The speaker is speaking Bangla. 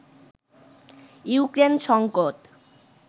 ইউক্রেন সংকট